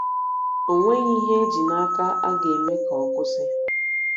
O nweghị ihe e ji n’aka a ga - eme ka ọ kwụsị.